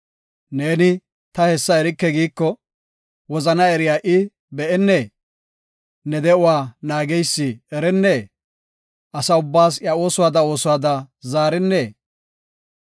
Ne, “Ta hessa erike” giiko, wozana eriya i, be7ennee? Ne de7uwa naageysi erennee? Asa ubbaas iya oosuwada oosuwada zaarennee?